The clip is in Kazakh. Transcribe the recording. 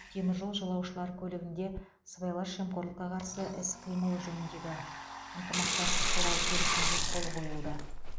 теміржол жолаушылар көлігінде сыбайлас жемқорлыққа қарсы іс қимыл жөніндегі ынтымақтастық туралы келісімге қол қойылды